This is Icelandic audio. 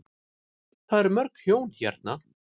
Það er mörg hjón hérna.